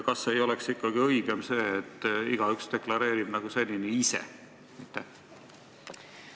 Kas ei oleks ikkagi õigem see, et igaüks deklareerib seda ise nagu senini?